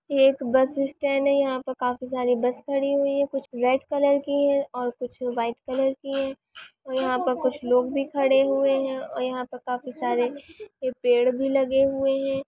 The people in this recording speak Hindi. एक बस स्टैंड है यहाँ पर काफी सारे बस खड़ी हुई है कुछ रेड कलर की है और कुछ व्हाइट कलर की है और यहा पर कुछ लोग भी खड़े हुए है और यहाँ पर काफी सारे पेड़ भी लगे हुए है।